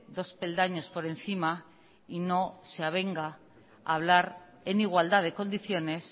dos peldaños por encima y no se avenga a hablar en igualdad de condiciones